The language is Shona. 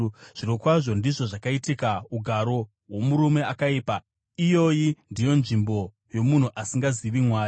Zvirokwazvo, ndizvo zvakaita ugaro hwomurume akaipa; iyoyi ndiyo nzvimbo yomunhu asingazivi Mwari.”